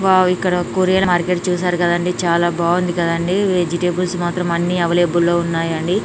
Wow ఇక్కడ courier market చూశారు కదా అండి చాలా బాగుంది కదా అండి వెజిటేబుల్స్ మాత్రం అన్ని అవైలబుల్ లో ఉన్నాయండి.